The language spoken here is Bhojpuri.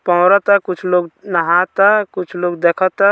कुछ लोग नहाता कुछ लोग देखता।